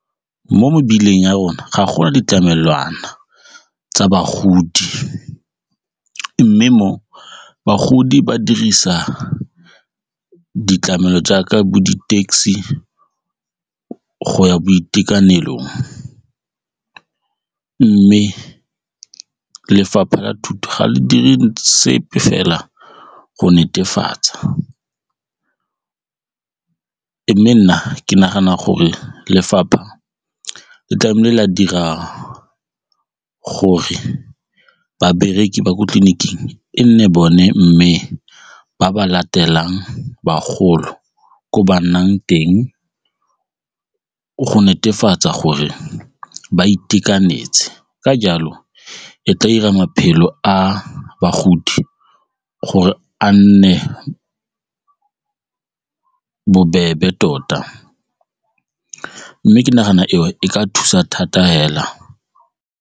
Mo mebileng ya rona ga go na ditlamelwana tsa bagodi mme mo bagodi ba dirisa ditlamelo jaaka bo di-taxi go ya boitekanelong mme lefapha la thuto ga le dire sepe fela go netefatsa. Mme nna ke nagana gore lefapha le tlamehile la dira gore babereki ba ko tleliniking e nne bone mme ba ba latelang bagolo ko ba nnang teng go netefatsa gore ba itekanetse ka jalo e tla dira maphelo a bagodi gore a nne bobebe tota mme ke nagana eo e ka thusa thata fela.